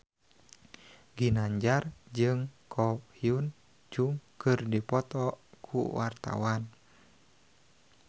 Ginanjar jeung Ko Hyun Jung keur dipoto ku wartawan